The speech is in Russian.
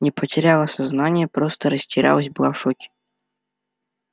не потеряла сознание просто растерялась была в шоке